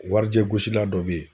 Warijɛ gosila dɔ be ye